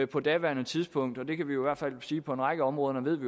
på daværende tidspunkt og vi kan i hvert fald sige på en række områder ved